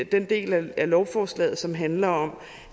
den del af lovforslaget som handler om